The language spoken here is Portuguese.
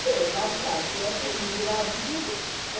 Sei lá se está certo, eu não engravido.